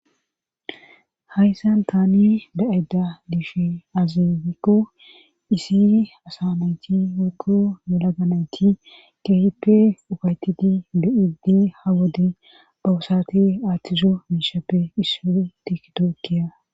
hayssan taani da7eda liishe azifikko iisiri asanayti wokko yela ganayti keippe ufaytiti de7idi ha wodi bowusati aathtizo miishappe isso tikito kiya